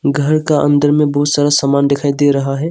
घर का अन्दर में बहुत सारा सामान दिखाई दे रहा हैं।